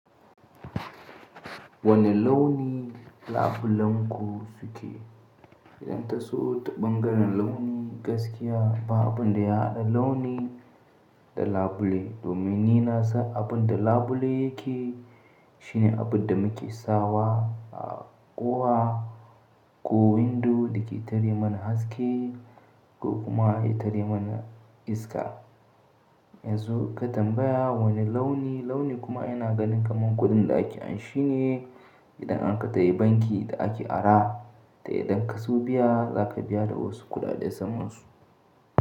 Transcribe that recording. Wane launi labulenku suke? Idan ta so ta ɓangaren launi gaskiya ba abin da ya haɗa launi da labule. Domin ni na san abin da labule yake, shine abin da muke sawa a kowa ko windo da ke tare mana haske ko kuma ya tare mana iska. Yanzu ka tambaya wane launi, launi kuma yana ganin kamar kuɗin da ake anshi ne idan aka tayi banki da ake ara. Da idan ka so biya zaka biya da wasu kuɗaɗe samansu.